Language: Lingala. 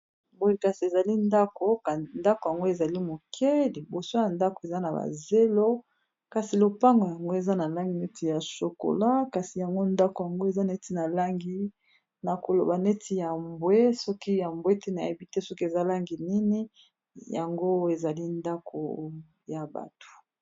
Boye kasi ezali ndako, ndako yango ezali moke liboso ya ndako eza na bazelo kasi lopango yango eza na langi neti ya shokola kasi yango ndako yango eza neti na langi nakoloba neti ya mbwe soki ya mbwe te na yebite soki eza langi nini yango ezali ndako ya bato.